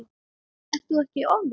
Ert þú ekkert ofvirk?